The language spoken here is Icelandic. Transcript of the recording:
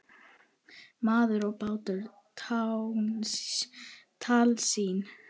Maður og bátur- tálsýn?